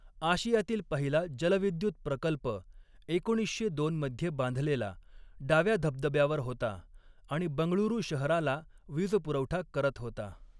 आशियातील पहिला जलविद्युत प्रकल्प एकोणीसशे दोन मध्ये बांधलेला डाव्या धबधब्यावर होता आणि बंगळुरू शहराला वीजपुरवठा करत होता.